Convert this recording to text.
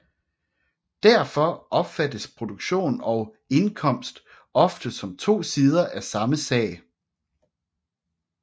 Derfor opfattes produktion og indkomst ofte som to sider af samme sag